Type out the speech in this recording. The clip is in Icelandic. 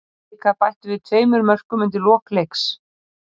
Blikar bættu við tveimur mörkum undir lok leiks.